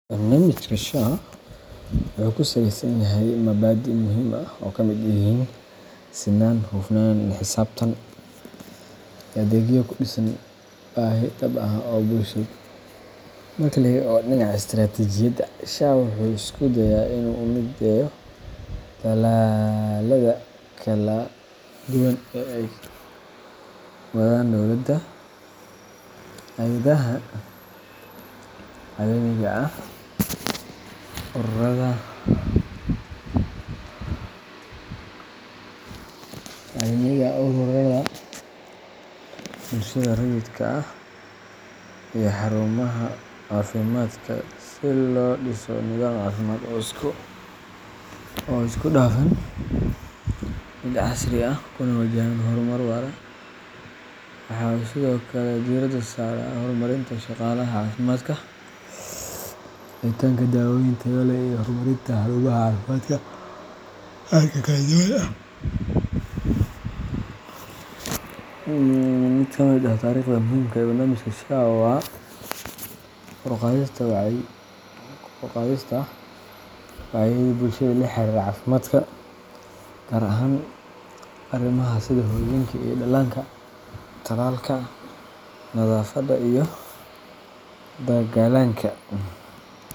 Barnamijka SHA wuxuu kusaaleysan yahay mubaadin muhiim ay kamid yihiin sinaan, xufnaan iyo xisabtan, adeegyo kudhisan baahi dhab ah oo bulshada, marka laga eego dhinaca istaraatijiyada SHA Wuxuu iskude'a inu mideeyo talaalada kala duban ee wadaan dowlada, hayadaha caalamiga ah ururaada dowlada, bulshada raidka ah iyo xaarumaha caafimaadka si loo dhiso gobaha caafimad oo isku dhafan, mid casri ah kuna wajahan horumar waaro, waxa sidokale diirada saara horumarinta shaqalaha caafimaadka iyo helida daawooyin taya leh horumarinta xaruumaha caafimaadka, mid kamid ah tariqda muhiimka ah barnamijka SHA oo ah kor uqadista dinacyada bulshada laxariira caafimaadka gaar ahan arimaha sida muhiimka ee dhalanka talalka, nadaafado iyo dagaalanka